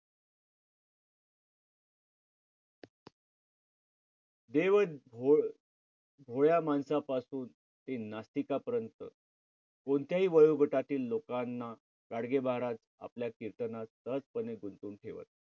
भोळ्या माणसापासून ते नास्तिकापर्यंत कोणत्याही वयोगटातील लोकांना गाडगे महाराज आपल्या कीर्तनात सहजपणे गुंतवून ठेवत.